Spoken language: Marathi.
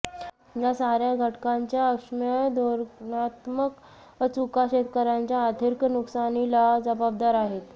या साऱ्या घटकांच्या अक्षम्य धोरणात्मक चुका शेतकऱ्यांच्या आर्थिक नुकसानीला जबाबदार आहेत